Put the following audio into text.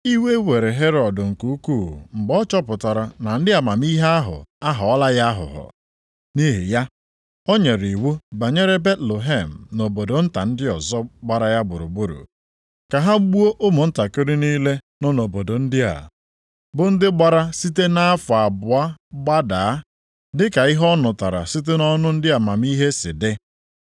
Iwe were Herọd nke ukwuu mgbe ọ chọpụtara na ndị amamihe ahụ aghọọla ya aghụghọ. Nʼihi ya, o nyere iwu banyere Betlehem na obodo nta ndị ọzọ gbara ya gburugburu, ka ha gbuo ụmụntakịrị niile nọ nʼobodo ndị a, bụ ndị gbara site nʼafọ abụọ gbadaa, dị ka ihe ọ nụtara site nʼọnụ ndị amamihe si dị.